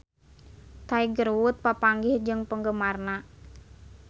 Tiger Wood papanggih jeung penggemarna